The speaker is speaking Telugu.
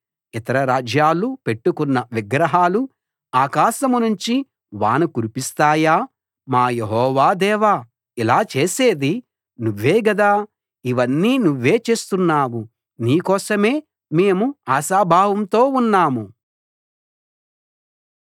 ఇతర రాజ్యాలు పెట్టుకున్న విగ్రహాలు ఆకాశం నుంచి వాన కురిపిస్తాయా మా యెహోవా దేవా ఇలా చేసేది నువ్వే గదా ఇవన్నీ నువ్వే చేస్తున్నావు నీ కోసమే మేము ఆశాభావంతో ఉన్నాము